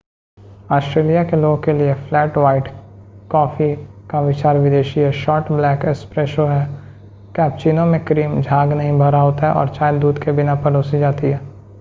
Australia के लोगों के लिए 'फ्लैट व्हाइट' कॉफी का विचार विदेशी है। शॉर्ट ब्लैक 'एस्प्रेसो' है कैपेचीनो में क्रीम झाग नहीं भरा होता है और चाय दूध के बिना परोसी जाती है।